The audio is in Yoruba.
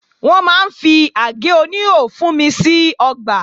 Wọ́n máa ń fi àgé oníhò fúnmi sí ọgbà